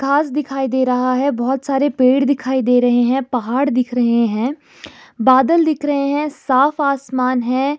घास दिखाई दे रहा है बहोत सारे पेड़ दिखाई दे रहे हैं पहाड़ दिख रहे हैं बादल दिख रहे है साफ आसमान है।